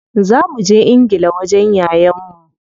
Za muje ingila wajen yayan mu.